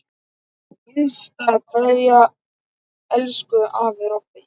HINSTA KVEÐJA Elsku afi Robbi.